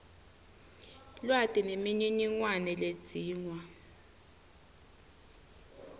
lwati nemininingwane ledzingwa